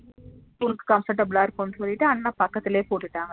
உனக்கு comfortable அஹ் இருக்கும்னு சொல்லிட்டு அண்ணா பக்கத்துலையே போட்டுடாங்க